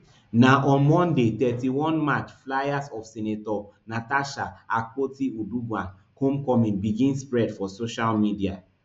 na on monday thirty-one march flyers of senator natasha akpotiuduaghan homecoming begin spread for social media